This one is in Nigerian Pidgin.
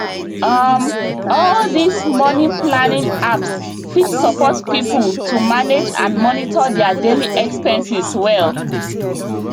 um all these moneyplanning apps fit support people to manage and monitor their daily expenses well